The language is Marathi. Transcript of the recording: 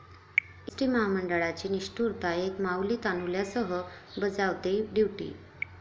एसटी महामंडळाची निष्ठुरता, एक माऊली तान्हुल्यासह बजावतेय ड्युटी!